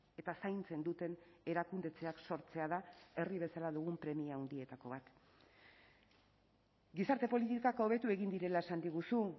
eta zaintzen duten erakundetzeak sortzea da herri bezala dugun premia handietako bat gizarte politikak hobetu egin direla esan diguzu